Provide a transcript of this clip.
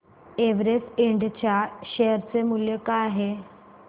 Everest Ind च्या share चे मूल्य काय आहे